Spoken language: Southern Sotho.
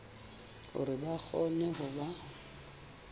hore ba kgone ho ba